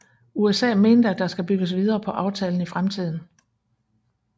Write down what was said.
USA mente at der skal bygges videre på aftalen i fremtiden